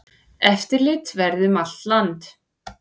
Eftirlit verði um land allt.